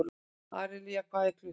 Aríella, hvað er klukkan?